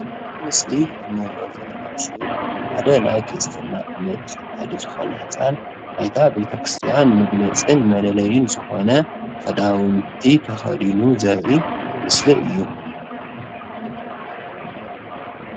እዚ ምስሊ እንሪኦ ዘለና ምስሊ ሓደ ናይ ክርስትና እምነት ተኸታሊ ዝኾነ ህፃን ናይታ ቤተክርስትያን መግለፅን መለለይን ዝኾነ ኽዳውንቲ ተኸዲኑ ዘርኢ ምስሊ እዩ።